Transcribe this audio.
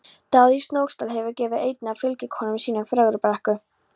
Daði í Snóksdal hefur gefið einni af fylgikonum sínum Fögrubrekku.